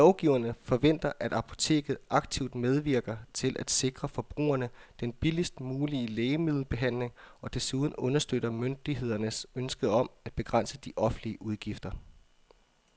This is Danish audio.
Lovgiverne forventer, at apoteket aktivt medvirker til at sikre forbrugerne den billigst mulige lægemiddelbehandling og desuden understøtter myndighedernes ønske om at begrænse de offentlige udgifter.